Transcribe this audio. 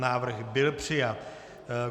Návrh byl přijat.